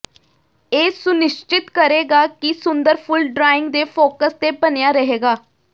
ਇਹ ਸੁਨਿਸ਼ਚਿਤ ਕਰੇਗਾ ਕਿ ਸੁੰਦਰ ਫੁੱਲ ਡਰਾਇੰਗ ਦੇ ਫੋਕਸ ਤੇ ਬਣਿਆ ਰਹੇਗਾ